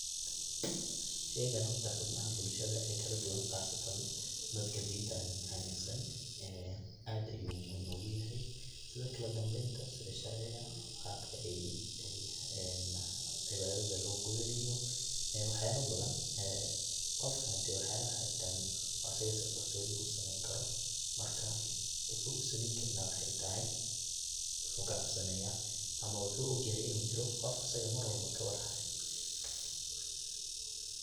Sheygan horta xibnaha bulshada ee kaladuban qaasatan dadka dintan aaminsan aad ayu muhim ogu yahay, sida kala dambeynta sida sharciga qabka een cibaadada loo gudanayo ee wax yala badan ,qofka hadi wax yaba waxaa jiran asaga si qarsodi usameeyn karo marka wuxuu usameeyn karin aya waxaa tahay wuxuu ka cabsanaya ama wuxuu ogyahay inu qof asaga mar walbo kawar hayo.